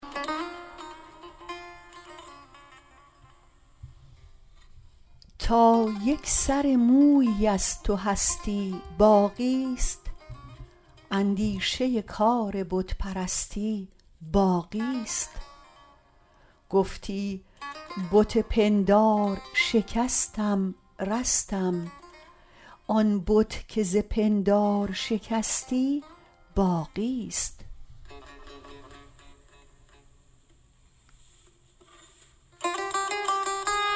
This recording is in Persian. تا یک سر مویی از تو هستی باقیست اندیشه کار بت پرستی باقیست گفتی بت پندار شکستم رستم آن بت که ز پندار شکستی باقیست